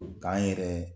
K'an yɛrɛ